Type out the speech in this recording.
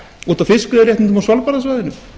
út af fiskveiðiréttindum á svalbarðasvæðinu